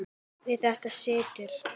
Við þetta situr.